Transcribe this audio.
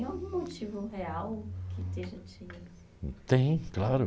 tem algum motivo real que esteja te... Tem, claro.